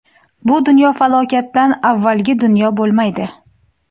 Bu dunyo falokatdan avvalgi dunyo bo‘lmaydi.